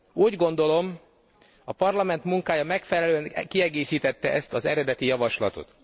Úgy gondolom, a Parlament munkája megfelelően kiegészítette ezt az eredeti javaslatot.